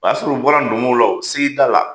A y'a sɔrɔ u bɔra ndomo la, s'i da la.